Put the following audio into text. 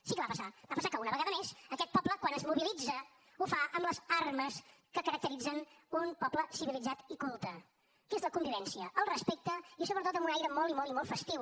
sí que va passar va passar que una vegada més aquest poble quan es mobilitza ho fa amb les armes que caracteritzen un poble civilitzat i culte que és la convivència el respecte i sobretot amb un aire molt i molt i molt festiu